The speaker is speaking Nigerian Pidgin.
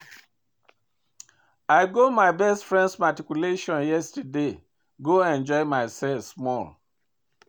I go my best friend matriculation yesterday go enjoy myself small